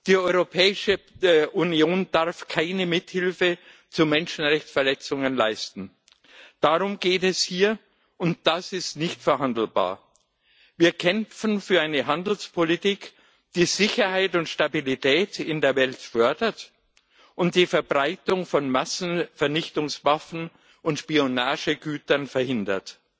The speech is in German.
Die Europäische Union darf keine Mithilfe zu Menschenrechtsverletzungen leisten. Darum geht es hier, und das ist nicht verhandelbar. Wir kämpfen für eine Handelspolitik, die Sicherheit und Stabilität in der Welt fördert und die Verbreitung von Massenvernichtungswaffen und Spionagegütern verhindert.